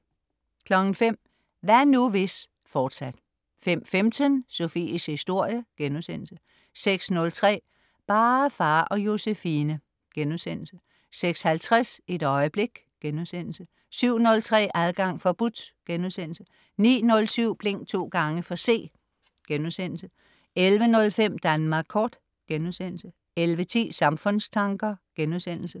05.00 Hvad nu, hvis?, fortsat 05.15 Sofies historie* 06.03 Bare far og Josefine* 06.50 Et øjeblik* 07.03 Adgang forbudt* 09.07 Blink to gange for C* 11.05 Danmark kort* 11.10 Samfundstanker*